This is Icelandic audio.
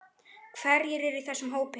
Hverjir eru í þessum hópi?